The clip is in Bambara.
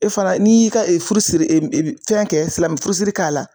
E fana n'i y'i ka furusiri fɛn kɛ silamɛ furusiri k'a la